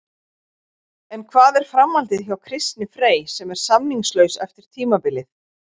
En hvað er framhaldið hjá Kristni Frey sem er samningslaus eftir tímabilið?